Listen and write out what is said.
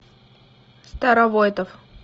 старовойтов